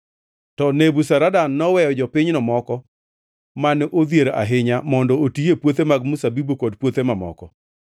To Nebuzaradan noweyo jopinyno moko mane odhier ahinya mondo oti e puothe mag mzabibu kod puothe mamoko.